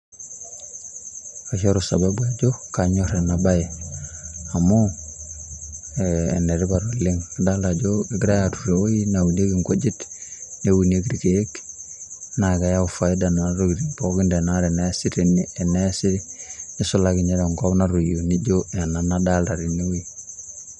Aishoru sababu ajo anyorr ena bae, Amu enetipat oleng' idolita ajo egirai aaturr ewoji neunikie engujit, Neunikie ilkeek naa keewu faida nena tokitin pookin teneesi tene neisulaki ninye tenkop natoyio anaa anadoolta tene oji.